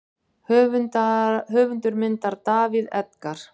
Höfundur myndar: David Edgar.